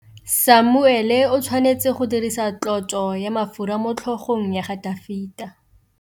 Samuele o tshwanetse go dirisa tlotsô ya mafura motlhôgong ya Dafita.